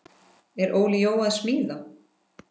Er Óli Jó að smíða?